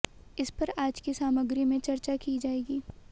इस पर आज की सामग्री में चर्चा की जाएगी